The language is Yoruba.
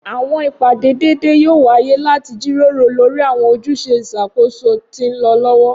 Awọn ipade deede yoo waye lati jiroro lori awọn ojuse iṣakoso ti nlọ lọwọ.